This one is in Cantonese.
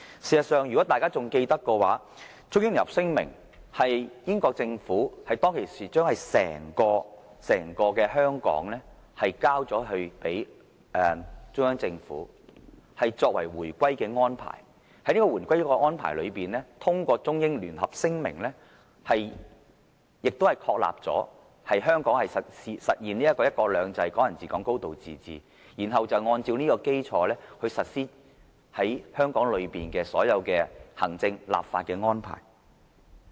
事實上，如果大家仍記得，《中英聯合聲明》是英國政府當時將整個香港交還中央政府，作為回歸的安排，在這個回歸的安排中，通過《中英聯合聲明》確立香港實現"一國兩制"、"港人治港"、"高度自治"，然後按這基礎來實施於香港內的所有行政、立法安排。